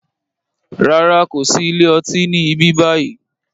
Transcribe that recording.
Rárá, kòsi ilé ọtí ni ibi báyìí